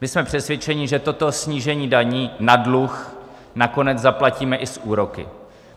My jsme přesvědčeni, že toto snížení daní na dluh nakonec zaplatíme i s úroky.